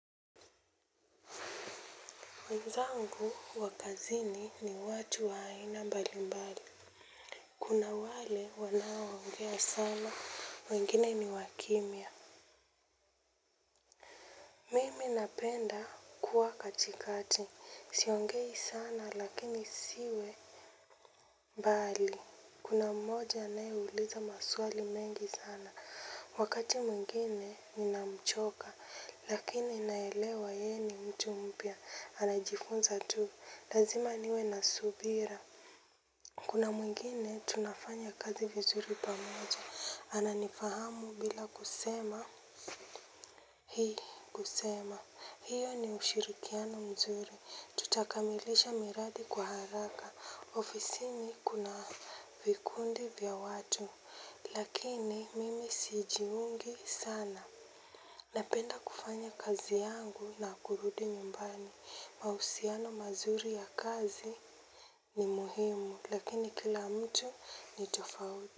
Wenzangu wakazini ni watu wa aina bali mbali. Kuna wale wanaoongea sana, wengine ni wakimia. Mimi napenda kuwa katikati, siongei sana lakini siwe. Mbali, kuna mmoja aneuliza maswali mengi sana. Wakati mwengine ninamchoka, lakini naelewa ye ni mtu mpia. Anajifunza tu, lazima niwe nasubira. Kuna mwingine tunafanya kazi vizuri pamoja. Ananifahamu bila kusema. Hii kusema. Hiyo ni ushirikiano mzuri. Tutakamilisha miradi kwa haraka. Ofisini kuna vikundi vya watu. Lakini mimi sijiungi sana. Napenda kufanya kazi yangu na kurudi nyumbani. Mausiano mazuri ya kazi ni muhimu. Lakini kila mtu ni tofauti.